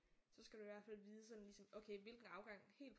Så skal du i hvert fald vide sådan ligesom okay hvilken afgang helt